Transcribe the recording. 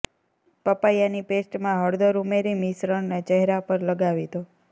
પપૈયાની પેસ્ટમાં હળદર ઉમેરી મિશ્રણને ચહેરા પર લગાવી દો